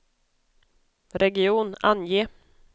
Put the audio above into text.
region, ange